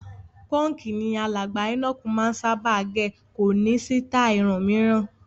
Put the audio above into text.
Pọ́ǹkì ni alàgbà Enoch máa ń sábà gẹ̀, kò ní sítáì irun mìíràn.